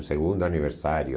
O segundo aniversário.